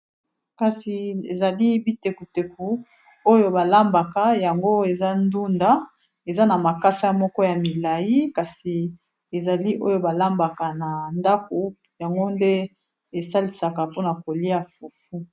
Kasi ezali bitekuteku oyo ba lambaka yango eza ndunda eza na makasa moko ya milai kasi ezali oyo balambaka na ndako yango nde esalisaka mpona kolia fufu.